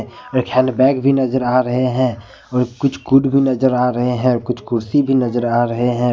एक हैंडबैग नजर आ रहे हैं और कुछ खुद भी नजर आ रहे हैं कुछ कुर्सी भी नजर आ रहे हैं।